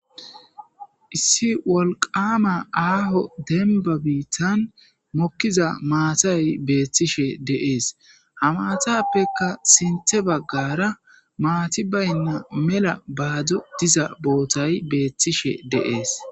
Issi woliqama aho demiba bitan mokiza matay betishe deesi ha matappekka sinththe baggara mati bayida mela bado diza botay betishe deesi